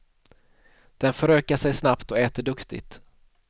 Den förökar sig snabbt och äter duktigt.